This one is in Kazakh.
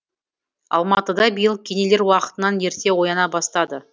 алматыда биыл кенелер уақытынан ерте ояна бастады